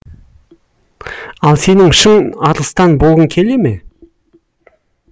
ал сенің шын арыстан болғың келе ме